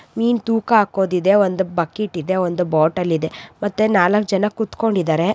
ಮೀನ್ ತೂಕಾ ಹಾಕೋದಿದೆ. ಒಂದ್ ಬಕೀಟ್ ಇದೆ. ಒಂದ್ ಬಾಟೆಲ್ ಇದೆ. ಮತ್ತೆ ನಾಲ್ಕ ಜನ ಕೂತ್ಕೊಂಡ ಇದ್ದಾರೆ.